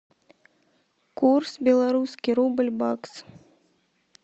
курс белорусский рубль бакс